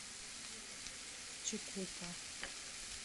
чикупа